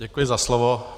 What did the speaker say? Děkuji za slovo.